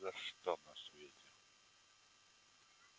о нет ни за что на свете